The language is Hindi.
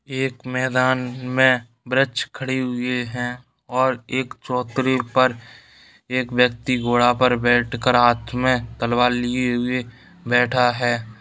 यह एक मैदान माय ब्राँच खरी हुए हैं और एक चोत्तरे पर एक विकती घोड़े पर बैठ कर हाथ में तलवार लिए हुए बैठे ही --